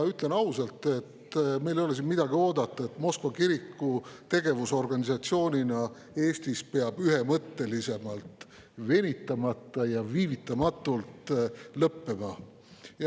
Ütlen ausalt, et meil ei ole siin midagi oodata, Moskva kiriku kui organisatsiooni tegevus Eestis peab ühemõtteliselt, venitamata ja viivitamatult lõppema.